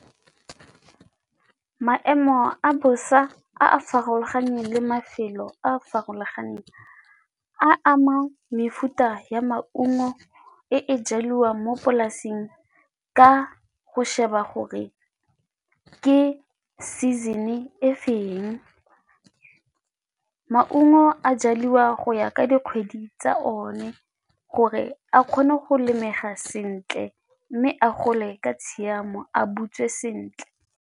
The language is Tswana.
Maemo a bosa a a farologaneng le mafelo a a farologaneng a ama mefuta ya maungo e e jalwang mo polasing ka go sheba gore ke season-e e feng. Maungo a jaliwa go ya ka dikgwedi tsa one gore a kgone go lemega sentle mme a gole ka tshiamo a butswe sentle.